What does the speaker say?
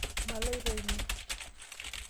Maloito ine.